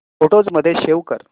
photos मध्ये save कर